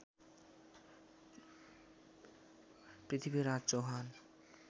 Prithviraj Chauhan